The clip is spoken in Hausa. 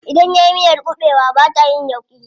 Idan nayi miyar kuɓewa bata yin yauƙi.